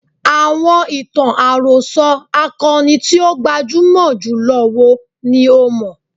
Àọn ìtàn àròsọ akọni tí ó gbajúmọ̀ jùlọ wo ni o mọ̀?